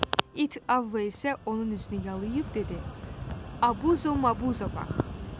İt Avva isə onun üzünü yalıyıb dedi: Abuzo Mabuza bax!